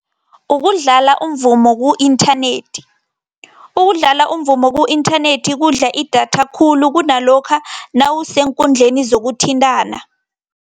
Ukudlala umvumo ku-inthanethi. Ukudlala umvumo ku-inthanethi kudla idatha khulu kunalokha nawuseenkundleni zokuthintana.